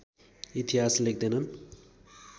इतिहास लेख्दैनन्